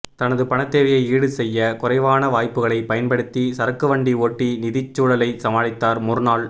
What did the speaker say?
தனது பணத்தேவையை ஈடு செய்ய குறைவான வாய்ப்புகளைப் பயன்படுத்தி சரக்குவண்டி ஓட்டி நிதிச் சூழலைச் சமாளித்தார் முர்னால்